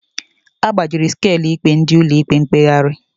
Agbajiri Skalu ikpe ndị Ụlọ ikpe mkpegharị